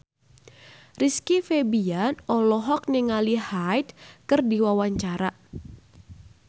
Rizky Febian olohok ningali Hyde keur diwawancara